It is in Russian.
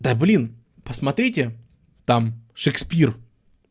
да блин посмотрите там шекспир